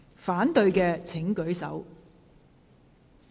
反對的請舉手。